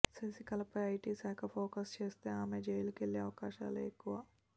శశికళపై IT శాఖ focus చేస్తే ఆమె జైలుకెళ్లే అవకాశాలే ఎక్కువ